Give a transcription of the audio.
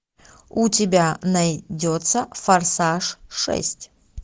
у тебя найдется форсаж шесть